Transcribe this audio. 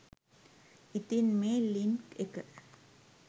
ඉතින් මේ ලින්ක් එක